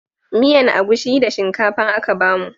Miyan agushi da shinkafa aka bamu